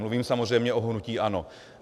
Mluvím samozřejmě o hnutí ANO.